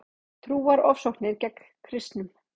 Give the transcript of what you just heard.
Trúarofsóknir gegn kristnum